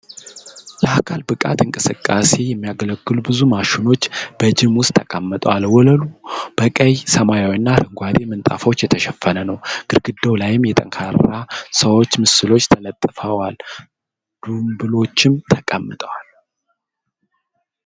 ለአካል ብቃት እንቅስቃሴ የሚያገለግሉ ብዙ ማሽኖች በጂም ውስጥ ተቀምጠዋል። ወለሉ በቀይ፣ ሰማያዊና አረንጓዴ ምንጣፎች የተሸፈነ ነው። ግድግዳው ላይ የጠንካራ ሰዎች ምስሎች ተለጥፈዋል። ዱምበሎችም ተቀምጠዋል።